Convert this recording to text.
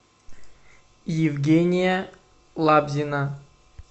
евгения лабзина